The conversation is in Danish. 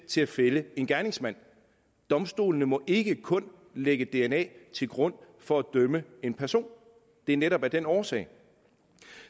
til at fælde en gerningsmand domstolene må ikke kun lægge dna til grund for at dømme en person og det er netop af den årsag